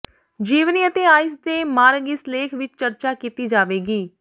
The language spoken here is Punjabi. ਜੀਵਨੀ ਅਤੇ ਆਈਸ ਤੇ ਮਾਰਗ ਇਸ ਲੇਖ ਵਿਚ ਚਰਚਾ ਕੀਤੀ ਜਾਵੇਗੀ